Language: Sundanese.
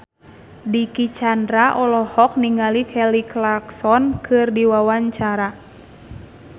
Dicky Chandra olohok ningali Kelly Clarkson keur diwawancara